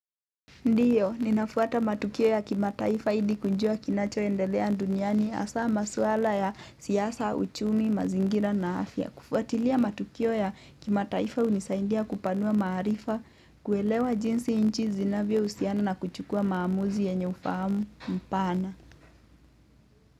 Ndio, ninafuata matukio ya kimataifa ili kujua kinachoendelea duniani hasa masuala ya siasa, uchumi, mazingira na afya. Kufuatilia matukio ya kimataifa hunisaidia kupanua maarifa, kuelewa jinsi nchi zinavyohusiana na kuchukua maamuzi yenye ufahamu mpana.